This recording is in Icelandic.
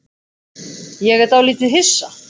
Ég er dálítið hissa.